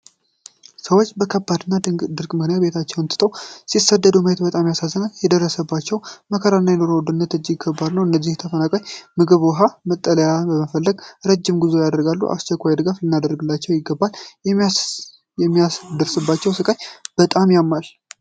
ሰዎች በከባድ ድርቅ ምክንያት ቤታቸውን ትተው ሲሰደዱ ማየት በጣም ያሳዝናል። የደረሰባቸው መከራና የኑሮ ውድነት እጅግ ከባድ ነው። እነዚህ ተፈናቃዮች ምግብን፣ ውሃን እና መጠለያን በመፈለግ ረጅም ጉዞ ያደርጋሉ። በአስቸኳይ ድጋፍ ልናደርግላቸው ይገባል። የሚደርስባቸው ስቃይ በጣም ያማል።